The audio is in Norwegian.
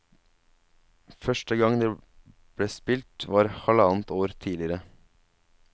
Første gang det ble spilt var halvannet år tidligere.